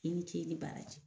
I ni ce i ni baaraji.